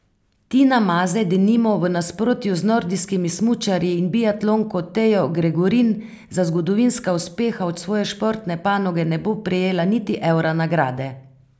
Tina Maze denimo v nasprotju z nordijskimi smučarji in biatlonko Tejo Gregorin za zgodovinska uspeha od svoje športne panoge ne bo prejela niti evra nagrade.